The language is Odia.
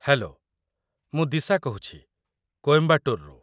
ହେଲୋ! ମୁଁ ଦିଶା କହୁଛି, କୋଏମ୍ବାଟୁରରୁ